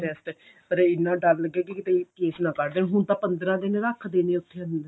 test ਪਰ ਇੰਨਾ ਡਰ ਲੱਗੇ ਕੀ ਕੀਤੇ case ਨਾ ਫੜ ਲੈਣ ਹੁਣ ਤਾਂ ਪੰਦਰਾਂ ਦਿਨ ਰੱਖਦੇ ਨੇ ਉੱਥੇ ਅੰਦਰ